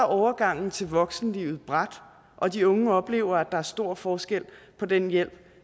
overgangen til voksenlivet brat og de unge oplever at der er stor forskel på den hjælp